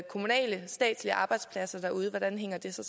kommunale og statslige arbejdspladser derude hvordan hænger det så